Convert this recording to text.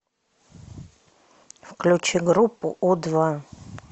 включи группу у два